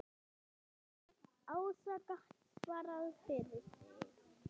Ása gat svarað fyrir sig.